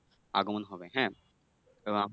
আগমন হবে হ্যাঁ? এবং